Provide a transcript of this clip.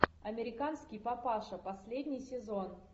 американский папаша последний сезон